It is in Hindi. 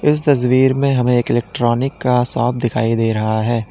इस तस्वीर में हमें एक इलेक्ट्रॉनिक का शॉप दिखाई दे रहा है।